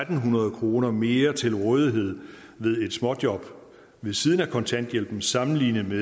hundrede kroner mere til rådighed ved et småjob ved siden af kontanthjælpen sammenlignet med